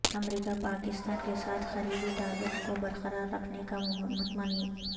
امریکہ پاکستان کے ساتھ قریبی تعلق کو برقرار رکھنے کا متمنی